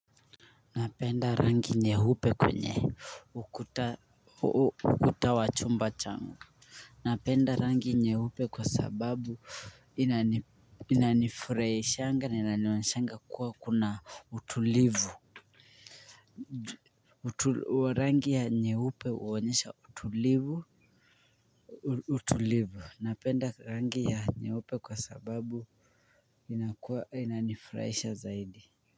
Napenda rangi nyeupe kwenye ukuta wa chumba changu. Napenda rangi nyeupe kwa sababu inanifurahishanga na inanioneshanga kuwa kuna utulivu wa rangi ya nyeupe waonyesha utulivu. Utulivu, napenda rangi ya nyeupe kwa sababu inanifurahisha zaidi.